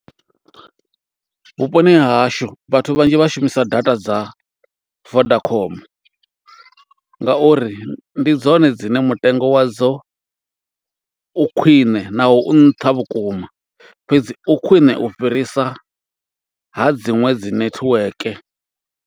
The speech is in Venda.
Vhuponi ha hashu vhathu vhanzhi vha shumisa data dza Vodacom, nga uri ndi dzone dzine mutengo wadzo u khwiṋe naho u nṱha vhukuma. Fhedzi u khwiṋe u fhirisa, ha dziṅwe dzi netiweke.